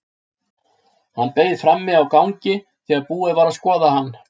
Hann beið frammi á gangi þegar búið var að skoða hann.